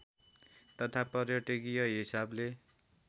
तथा पर्यटकीय हिसाबले